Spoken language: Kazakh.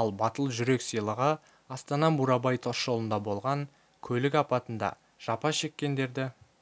ал батыл жүрек сыйлығы астана-бурабай тас жолында болған көлік апатында жапа шеккендерді